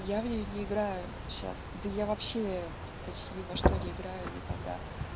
я в неё не играю сейчас да я вообще почти ни во что не играю никогда